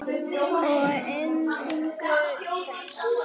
Og að endingu þetta.